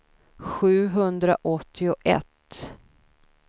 sjuhundraåttioett